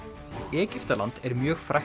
Egyptaland er mjög frægt